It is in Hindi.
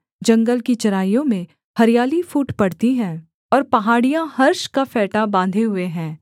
वे जंगल की चराइयों में हरियाली फूट पड़ती हैं और पहाड़ियाँ हर्ष का फेंटा बाँधे हुए है